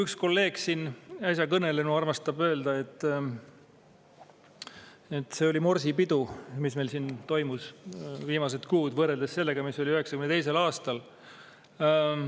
Üks kolleeg, siin äsja kõnelenu, armastab öelda, et see on olnud morsipidu, mis meil siin on viimased kuud toimunud, võrreldes sellega, mis oli 1992. aastal.